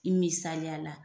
I misaliya la